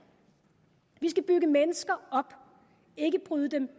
vi skal bygge mennesker op ikke bryde dem